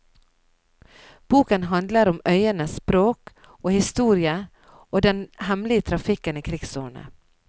Boken handler om øyenes språk og historie og den hemmelige trafikken i krigsårene.